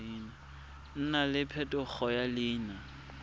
nna le phetogo ya leina